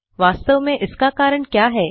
वास्तव में इस का कारण क्या है